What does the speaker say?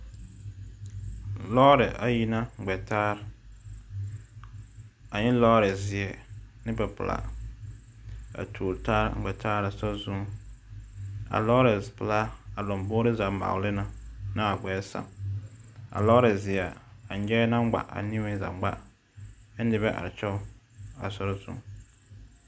Lɔɛ ayi la ŋmɛ taa a e lɔɔzeɛ ane lɔɔpilaa a tuori taa ŋmɛ taa a sori zu kaa lɔɔpilaa lamboe zaa ŋmɔgli kyɛ kaa lɔɔzeɛ nyabogri la ŋmɔgli kyɛ kaa noba tɔŋtɔŋ a soriŋ